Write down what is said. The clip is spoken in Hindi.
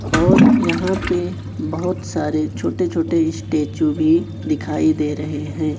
और यहां पे बहोत सारे छोटे छोटे स्टैचू भी दिखाई दे रहे हैं।